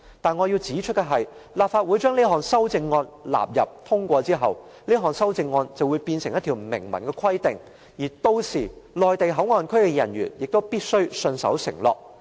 但是，我要指出的是，若立法會把這項修正案納入《條例草案》並予以通過，這項修正案便會成為明文規定，屆時內地口岸區的人員亦必須信守承諾。